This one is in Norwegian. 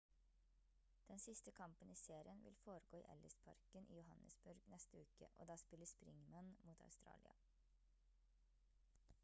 den siste kampen i serien vil foregå i ellis-parken i johannesburg neste uke og da spiller springemen mot australia